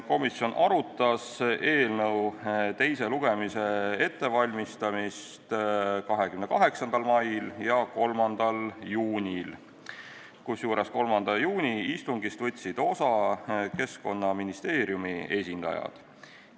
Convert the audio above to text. Komisjon arutas eelnõu teise lugemise ettevalmistamist 28. mail ja 3. juunil, kusjuures 3. juuni istungist võtsid osa Keskkonnaministeeriumi esindajad.